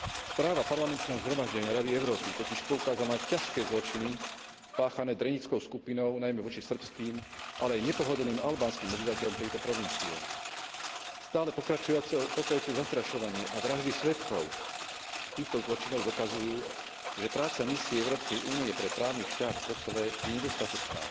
Správa parlamentného zhromaždenia Rady Európy totiž poukázala na ťažké zločiny páchané drenickou skupinou najmä voči srbským, ale i nepohodlným albánskym obyvateľom tejto provincie. Stále pokračujúce zastrašovanie a vraždy svedkov týchto zločinov dokazujú, že práca misie Európskej únie pre právny štát v Kosove je nedostatočná